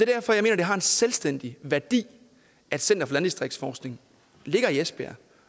derfor jeg mener det har en selvstændig værdi at center for landdistriktsforskning ligger i esbjerg